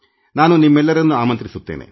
ನಾನು ನಿಮ್ಮೆಲ್ಲರನ್ನೂ ಆಮಂತ್ರಿಸುತ್ತೇನೆ